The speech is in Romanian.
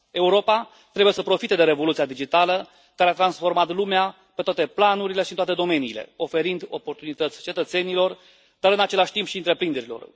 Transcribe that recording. Europa trebuie să profite de revoluția digitală care a transformat lumea pe toate planurile și toate domeniile, oferind oportunități cetățenilor dar, în același timp, și întreprinderilor.